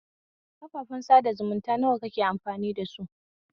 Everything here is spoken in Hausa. Kafafen sada zumunta nawa kake amfani dasu?